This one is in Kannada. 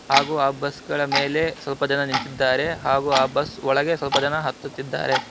ಹಾಗೂ ಆ ಬಸ್ ಗಳ ಮೇಲೆ ಸ್ವಲ್ಪ ಜನ ನಿಂತಿದ್ದಾರೆ ಹಾಗೂ ಆ ಬಸ್ ಒಳಗೆ ಸ್ವಲ್ಪ ಜನ ಹತ್ತುತ್ತಿದ್ದಾರೆ.